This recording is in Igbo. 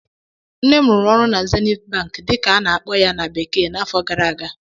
Nne m rụrụ ọrụ na "Zenith bank" dịka a na-akpọ ya na bekee n'afọ gara aga